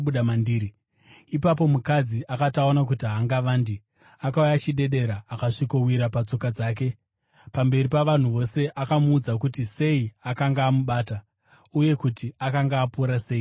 Ipapo mukadzi akati aona kuti haangavandi, akauya achidedera akasvikowira patsoka dzake. Pamberi pavanhu vose akamuudza kuti sei akanga amubata, uye kuti akanga apora sei pakarepo.